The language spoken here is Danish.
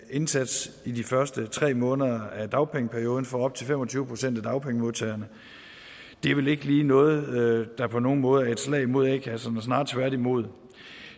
indsats i de første tre måneder af dagpengeperioden for op til fem og tyve procent af dagpengemodtagerne det er vel ikke lige noget der på nogen måde er et slag mod a kasserne snarere tværtimod